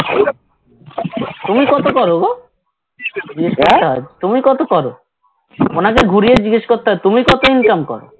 তুমি কত করো গো? তুমি কত করো? ঘনা কে ঘুরিয়ে জিগেস করতে হয় তুমি কত income করো?